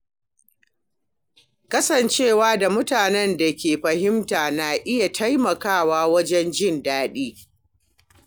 Kasancewa da mutanen da ke fahimta na iya taimakawa wajen jin daɗi.